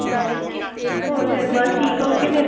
ਹੋਰ ਫਿਰ ਬਸ ਠੀਕ ਆ okay ਫਿਰ।